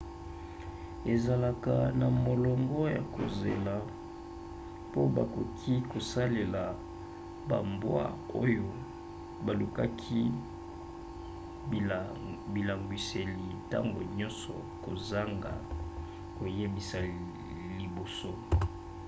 ezalaka na molongo ya kozela po bakoki kosalela bambwa oyo balukaki bilangwiseli ntango nyonso kozanga koyebisa liboso